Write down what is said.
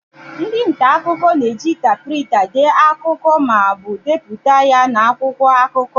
Ndị nta akụkọ na-eji tapuraita dee akụkọ ma na-ebipụta ya n'akwụkwọ akụkọ.